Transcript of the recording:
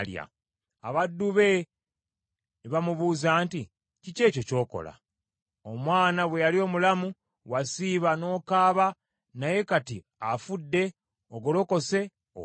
Abaddu be ne bamubuuza nti, “Kiki ekyo ky’okola? Omwana bwe yali omulamu, wasiiba n’okaaba, naye kati afudde, ogolokose, olya!”